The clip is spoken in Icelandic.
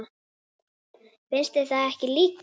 Finnst þér það ekki líka?